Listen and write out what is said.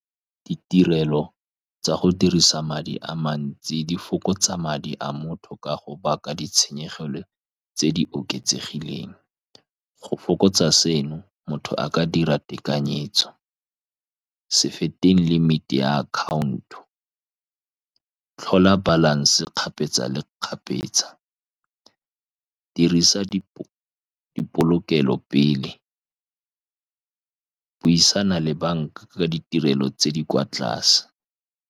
Ditirelo tsa go dirisa madi a mantsi di fokotsa madi a motho, ka go baka ditshenyegelo tse di oketsegileng. Go fokotsa seno, motho a ka dira tekanyetso, se fete limit-i ya account-o. Tlhola balance kgapetsa le kgapetsa, dirisa dipolokelo pele, buisana le banka ka ditirelo tse di kwa tlase.